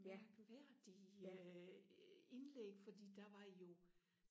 mærkværdige indlæg fordi der var jo